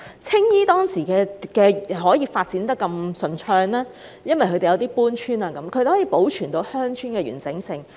青衣當年可順利發展，正是因為鄉村可透過搬遷而得以保存其完整性。